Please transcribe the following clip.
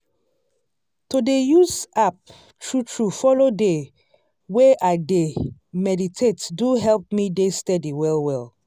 to dey use app true true follow dey way i dey meditate do help me dey steady well well.